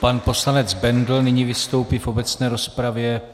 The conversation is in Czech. Pan poslanec Bendl nyní vystoupí v obecné rozpravě.